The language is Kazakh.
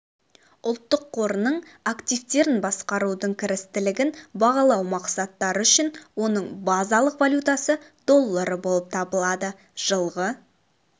ұлттық қорының активтерін басқарудың кірістілігін бағалау мақсаттары үшін оның базалық валютасы доллары болып табылады жылғы